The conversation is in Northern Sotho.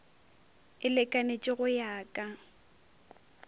e lekanetše go ya ka